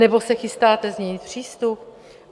Nebo se chystáte změnit přístup?